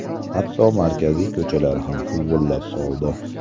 Hatto markaziy ko‘chalar ham huvullab qoldi.